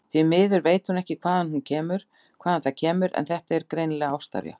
Því miður veit hún ekki hvaðan það kemur, en þetta er greinilega ástarjátning.